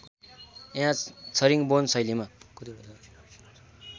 यहाँ छरिङ्गबोन शैलीमा